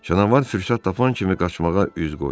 Canavar fürsət tapan kimi qaçmağa üz qoydu.